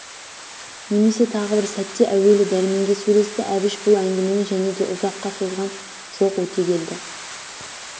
немесе тағы бір сәтте әуелі дәрменге сөйлесті әбіш бұл өңгімені және де ұзаққа созған жоқ өтегелді